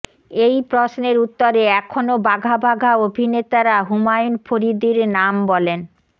এই প্রশ্নের উত্তরে এখনো বাঘা বাঘা অভিনেতারা হুমায়ুন ফরীদির নাম বলেন